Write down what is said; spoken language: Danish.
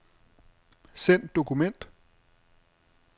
Send dokument.